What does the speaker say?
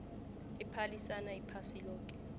ephalisana iphasi loke